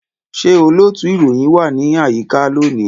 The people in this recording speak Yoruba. Ṣé olóòtú ìròyìn wà ní àyíká lónìí?